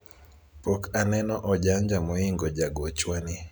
pok aneno ojanja moingo jagochwa ni